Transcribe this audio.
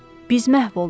Biz məhv olduq.